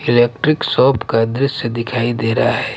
Electric shop का दृश्य दिखाई दे रहा है।